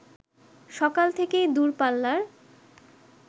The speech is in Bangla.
সকাল থেকেই দূরপাল্লার